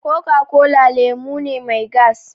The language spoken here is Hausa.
Coca-cola lemu ne mai gas